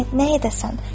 Nə nə edəsən?